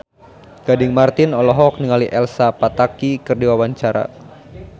Gading Marten olohok ningali Elsa Pataky keur diwawancara